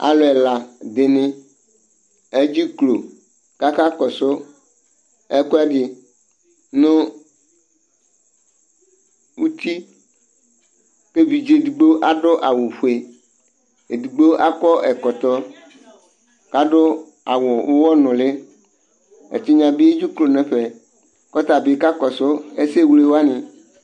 Alʋ ɛla dɩnɩ edziklo , kaka kɔsʋ ɛkʋɛdɩ nʋ utiK 'evidze edigbo adʋ awʋ fue, edigbo akɔ ɛkɔtɔ k' adʋ awʋ ʋwɔ nʋlɩ; ɛtɩnyɛ bɩ edzeklo nɛfɛ kɔta bɩ kakɔsʋ ɛsɛ wle wanɩ